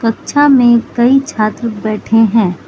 कक्षा में कई छात्र बैठे हैं।